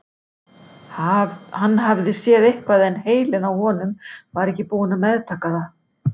Hann hafði séð eitthvað en heilinn á honum var ekki búinn að meðtaka það.